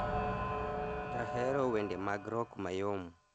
Ahero wende mag rock mayom